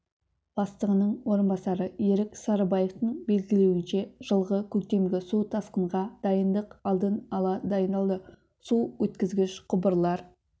бастығының орынбасары ерік сарыбаевтың белгілеуінше жылғы көктемгі су тасқынға дайындық алдын ала дайындалды су өткізгіш құбырлар